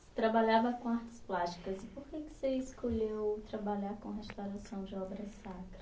Você trabalhava com artes plásticas. E por que que você escolheu trabalhar com restauração de obras